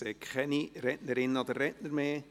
Es gibt keine weiteren Einzelsprechenden.